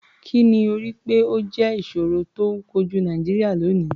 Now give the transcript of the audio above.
Kì ni o rò pé ó jẹ́ ìṣòro tó ń kojú Nàìjíríà lónìí?